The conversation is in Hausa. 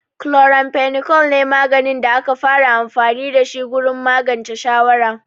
Chloramphenicol ne maganin da aka fara amfani da shi gurin magance shawara.